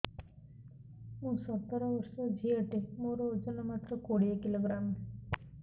ମୁଁ ସତର ବର୍ଷ ଝିଅ ଟେ ମୋର ଓଜନ ମାତ୍ର କୋଡ଼ିଏ କିଲୋଗ୍ରାମ